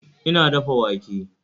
Ina dafa wake